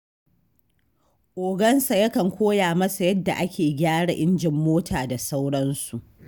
Ogansa yakan koya masa yadda ake gyara injin mota da sauransu.